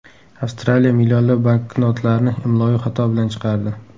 Avstraliya millionlab banknotlarni imloviy xato bilan chiqardi.